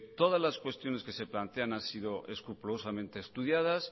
todas las cuestiones que se plantean han sido escrupulosamente estudiadas